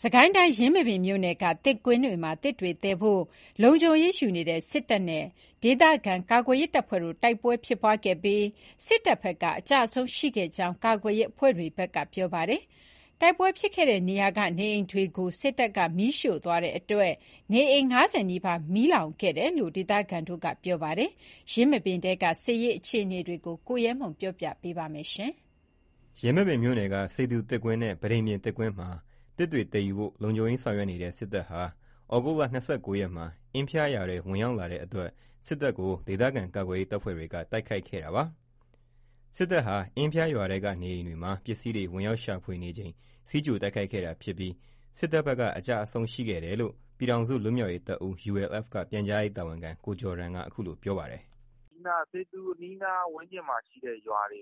စစ်ကိုင်းတိုင်း ယင်းမာပင်မြို့နယ်က သစ်ကွင်းတွေမှာ သစ်တွေသယ်ယူဖို့ လုံခြုံရေးယူနေတဲ့ စစ်တပ်နဲ့ ဒေသခံကာကွယ်ရေးတပ်ဖွဲ့တို့တိုက်ပွဲဖြစ်ခဲ့ပြီး စစ်တပ်ဘက်က အကျအဆုံးရှိခဲ့တယ်လို့ ကာကွယ်ရေးအဖွဲ့တွေက ပြောပါတယ်။ တိုက်ပွဲဖြစ်ခဲ့တဲ့နေရာကနေအိမ်တွေကိုလည်း စစ်တပ်က မီးရှို့သွားလို့ နေအိမ် ၅၀ နီးပါး မီးလောင်ကျွမ်းခဲ့တယ်လို့ ဒေသခံတွေက ပြောပါတယ်။ ယင်းမာပင်ထဲက စစ်ရေး အခြေအနေတွေကို ကိုရဲမွန်က တင်ပြပေးထားပါတယ်။ ယင်းမာပင်မြို့နယ်က စေသူသစ်ကွင်းနဲ့ ပန်းတိန်ပြင်သစ်ကွင်းမှာ သစ်သယ်ဖို့ လုံခြုံရေးယူနေတဲ့ စစ်တပ်ဟာ သြဂုတ် ၂၉ ရက်မှာ အင်ဖျားရွာထဲ ဝင်ရောက်လာချိန်မှာ ဒေသခံကာကွယ်ရေး တပ်ဖွဲ့တွေက တိုက်ခိုက်ခဲ့တာပါ။ စစ်တပ်ဟာ အင်းဖျားရွာထဲကအိမ်တွေထဲဝင်ပြီး ပစ္စည်းတွေရှာဖွေနေချိန်တိုက်ခိုက်ခဲ့တာဖြစ်ပြီး စစ်တပ်ဘက်က အကျအဆုံးရှိခဲ့တယ်လို့ ပြည်ထောင်စု လွတ်မြောက်ရေးတပ်ဦး က ပြန်ကြားရေး တာဝန်ခံ ကိုဂျော်ဒန်က အခုလို ပြောပါတယ်။ “စေသူအနီးနားဝန်းကျင်မှာရှိတဲ့ရွာတွေ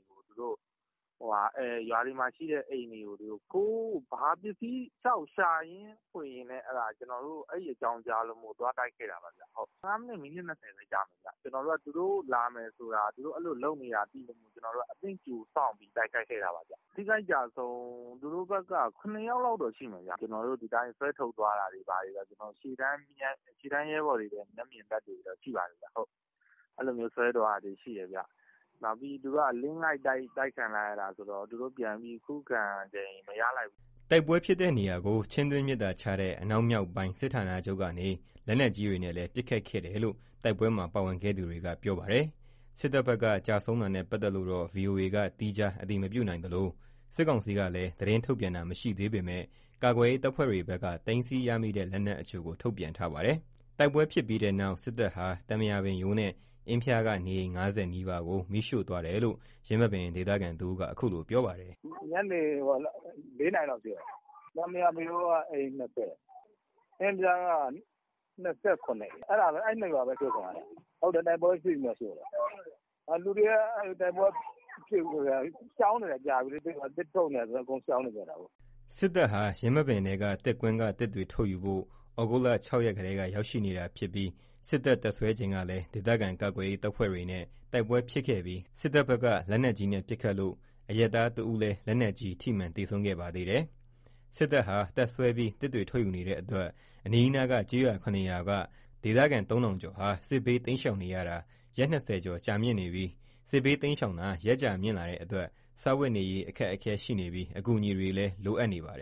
ရွာတွေမှာရှိတဲ့အိမ်တွေကို ပစ္စည်းတွေလျှောက်ရှာဖွေရင်း အဲ့အကြောင်းကြားလို့ သွားတိုက်ခဲ့တာပါ။ ၁၅ မိနစ်၊ မိနစ် ၂၀ လောက်ကြာမယ်။ သူတို့လာမယ်ဆိုတာ အဲ့လိုလုပ်နေတာသိလို့ အသင့်ကြိုစောင့်ပြီး တိုက်ခိုက်ခဲ့တာပါ။ ထိခိုက် အကျအဆုံးက သူတို့ဘက်က ၇ ယောက်လောက်တော့ ရှိမယ်။ ဒီအတိုင်းဆွဲထုတ်သွားတာတွေဘာတွေ ရှေ့တန်းရဲဘော်တွေ မျက်မြင် သက်သေတွေတော့ ရှိပါတယ်။ အဲ့လိုဆွဲသွားတာတွေရှိတယ်။ သူတို့အလစ်အငိုက်တိုက်ခံရတာဆိုတော့ ပြန်ပြီးခုခံချိန်မရလိုက်ဘူး။” တိုက်ပွဲဖြစ်တဲ့နေရာကို ချင်းတွင်းမြစ်သာခြားတဲ့ အနောက်မြောက်တိုင်းစစ်ဌာနချုပ်ကနေ လက်နက်ကြီးတွေနဲ့လည်း ပစ်ခတ်ခဲ့တယ်လို့ တိုက်ပွဲမှာ ပါဝင်ခဲ့သူတွေက ပြောပါတယ်။ စစ်တပ်ဘက်က ကျဆုံးတာနဲ့ပတ်သက်လို့တော့ ဗွီအိုအေက သီးခြားအတည်မပြုနိုင်သလို စစ်ကောင်စီကလည်း သတင်းထုတ်ပြန်တာမရှိသေးပေမယ့် ကာကွယ်ရေးတပ်ဖွဲ့တွေဘက်က သိမ်းဆည်းရမိတဲ့ လက်နက်အချို့ကို ထုတ်ပြန်ထားပါတယ်။ တိုက်ပွဲဖြစ်ပြီးတဲ့နောက် စစ်တပ်ဟာ သံပရာပင်ရိုး နဲ့ အင်းဖျားက နေအိမ် ၅၀ နီးပါးကို မီးရှို့သွားတယ်လို့ ယင်းမာပင် ဒေသခံတဦးက အခုလို ပြောပါတယ်။ “ညနေ ၄ နာရီလောက်ရှို့တာ။ သံပရာပင်မရိုးက အိမ် ၂၀ အင်ဖျားက ၂၇ အိမ် အဲ့ ၂ ရွာပဲ အရှို့ခံရတာ။ ဟုတ်တယ် တိုက်ပွဲဖြစ်ပြီးမှရှို့တာ။ လူတွေက တိုက်ပွဲမဖြစ်ခင်ကတည်းက ရှောင်နေတာလေ။ သစ်ထုတ်နေတာဆိုတော့ အကုန်ရှောင်နေတာ။” စစ်တပ်ဟာ ယင်းမာပင်ထဲက သစ်ကွင်းက သစ်တွေထုတ်ယူဖို့ သြဂုတ်လ ၆ ရက်ကတည်းက ရောက်ရှိနေတာဖြစ်ပြီး စစ်တပ် တပ်စွဲချိန်ကလည်း ဒေသခံကာကွယ်ရေးတပ်ဖွဲ့တွေနဲ့ တိုက်ပွဲ ဖြစ်ခဲ့ပြီး စစ်တပ်ဘက်က လက်နက်ကြီးပစ်ခတ်လို့ အရပ်သားတဦးလည်း ထိမှန် သေဆုံးခဲ့သေးတယ်။ စစ်တပ်ဟာ တပ်စွဲပြီး သစ်တွေထုတ်ယူနေတဲ့အတွက် အနီးနားက ကျေးရွာ ၇ ရွာက ဒေသခံ ၃ ထောင်ကျော်ဟာ စစ်ဘေးတိမ်းရှာင်နေရတာ ရက် ၂၀ ကျော် ကြာနေပါပြီ။ စစ်ဘေးတိမ်းရှောင်တာ ရက်ကြာမြင့်လာတာနဲ့အမျှ စားဝတ်နေရေး အခက်အခဲရှိနေပြီး အကူအညီတွေလည်း လိုအပ်နေပါတယ်